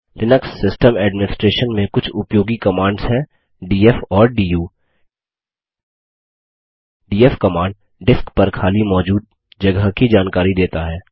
Linux system administration में कुछ उपयोगी कमांड्स हैं डीएफ और डू डीएफ कमांड डिस्क पर खाली मौजूद जगह की जानकारी देता है